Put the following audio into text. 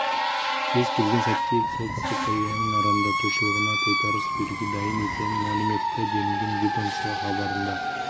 кез келген сәтке солтүстік кореяның арандатушылығына тойтарыс беруге дайын екенін мәлім етті делінген ведомство хабарында